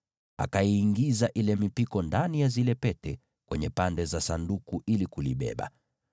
Akaiingiza hiyo mipiko kwenye zile pete katika pande mbili za Sanduku ili kulibeba.